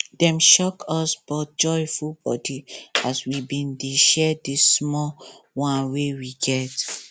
dem shock us but joy full body as we been dey share di small one wey we get